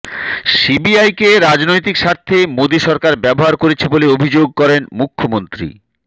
সিবিআইকে রাজনৈতিক স্বার্থে মোদী সরকার ব্যবহার করছে বলে অভিযোগ করেন মুখ্যমন্ত্রী